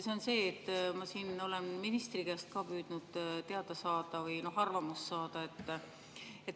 See on selle kohta, mida ma olen ka ministri käest püüdnud teada saada või tema arvamust saada.